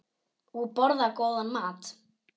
Og borða góðan mat.